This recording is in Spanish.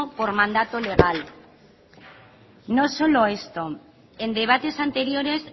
por mandato legal no solo esto en debates anteriores